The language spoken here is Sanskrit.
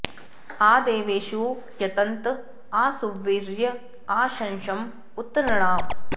आ दे॒वेषु॒ यत॑त॒ आ सु॒वीर्य॒ आ शंस॑ उ॒त नृ॒णाम्